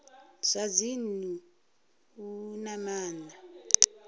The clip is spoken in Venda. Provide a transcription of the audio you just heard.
zwa dzinnu u na maana